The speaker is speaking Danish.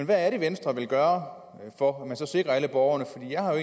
hvad er det venstre vil gøre for at sikre alle borgerne for jeg har jo